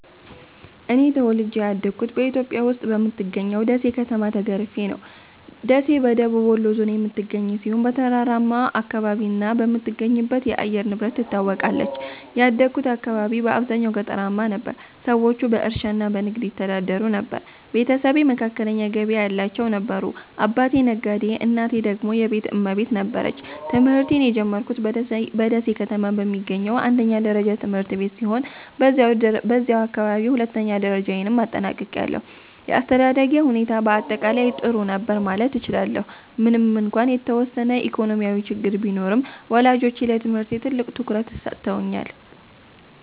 እኔ ተወልጄ ያደግሁት በኢትዮጵያ ውስጥ በምትገኘው ደሴ ከተማ ተገርፌ ነው። ደሴ በደቡብ ወሎ ዞን የምትገኝ ሲሆን፣ በተራራማ አካባቢና በምትገኝበት የአየር ንብረት ትታወቃለች። ያደግሁት አካባቢ በአብዛኛው ገጠራማ ነበር፤ ሰዎቹ በእርሻና በንግድ ይተዳደሩ ነበር። ቤተሰቤ መካከለኛ ገቢ ያላቸው ነበሩ፤ አባቴ ነጋዴ እናቴ ደግሞ የቤት እመቤት ነበረች። ትምህርቴን የጀመርኩት በደሴ ከተማ በሚገኝ አንደኛ ደረጃ ትምህርት ቤት ሲሆን፣ በዚያው አካባቢ ሁለተኛ ደረጃዬንም አጠናቅቄያለሁ። የአስተዳደጌ ሁኔታ በአጠቃላይ ጥሩ ነበር ማለት እችላለሁ፤ ምንም እንኳን የተወሰነ ኢኮኖሚያዊ ችግር ቢኖርም፣ ወላጆቼ ለትምህርቴ ትልቅ ትኩረት ሰጥተውኛል።